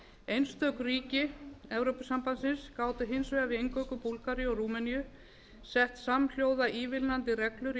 einstök ríki evrópusambandsins gátu hins vegar við inngöngu búlgaríu og rúmeníu sett samhljóða ívilnandi reglur í